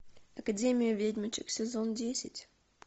академия ведьмочек сезон десять